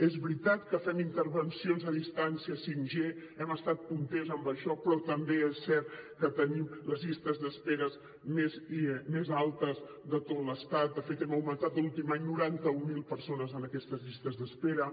és veritat que fem intervencions a distància 5g hem estat punters en això però també és cert que tenim les llistes d’espera més altes de tot l’estat de fet hem augmentat l’últim any noranta mil persones en aquestes llistes d’espera